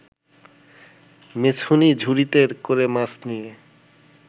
মেছুনী ঝুড়িতে করে মাছ নিয়ে